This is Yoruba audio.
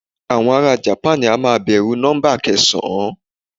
Àwọn ará japan a máa bẹ̀rù nọ́ḿbà kẹsàn-án.